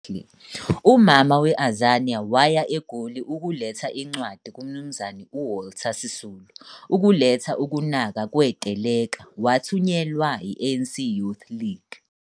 "UMama we-Azania" waya egoli ukuletha incwadi kumnumzane uWalter Sisulu ukuletha ukunaka kweteleka, Wathunyelwe eANCYL.